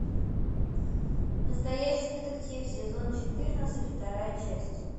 настоящий детектив сезон четырнадцать вторая часть